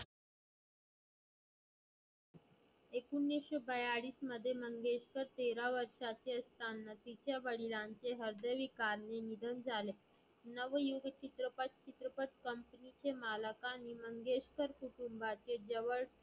एकोणीसशे बयालीस मध्ये मंगेशकर तेरा वर्षाची असताना तीच्या वडिलांचे हृदय विकारणी निधन झाले. नव युवती चित्रपट company चे मालकांनी मंगेशकर कुटूंबाचे जवळ